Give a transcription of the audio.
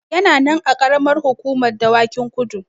Yana nan a Ƙaramar Hukumar Dawakin Kudu.